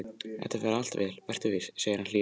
Þetta fer allt vel, vertu viss, segir hann hlýlega.